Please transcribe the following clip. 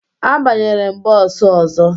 Abanyere m bọọsụ ọzọ